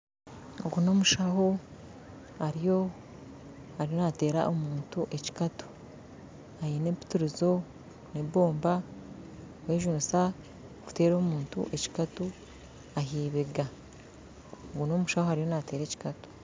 Ogu nomushaho ariyo nateera omuntu ekikatu aine empitirizo nebomba arikugyejunisa kuteera omuntu aheibega ogu nomushaho ariyo nateera omuntu ekikatu